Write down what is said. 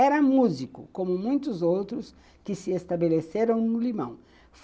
Era músico, como muitos outros que se estabeleceram no Limão.